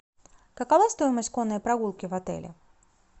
какова стоимость конной прогулки в отеле